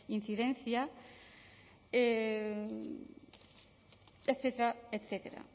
incidencia etcétera